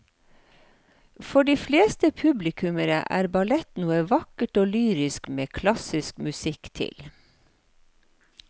For de fleste publikummere er ballett noe vakkert og lyrisk med klassisk musikk til.